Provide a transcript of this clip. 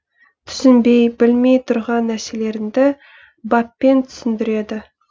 түсінбей білмей тұрған нәрселеріңді баппен түсіндіреді